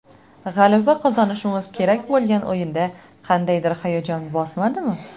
G‘alaba qozonishimiz kerak bo‘lgan o‘yinda qandaydir hayajon bosmadimi?